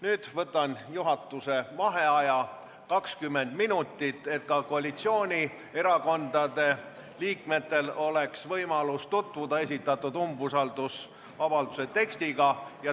Nüüd võtan juhatuse vaheaja 20 minutit, et ka koalitsioonierakondade liikmetel oleks võimalik tutvuda umbusaldusavalduse tekstiga.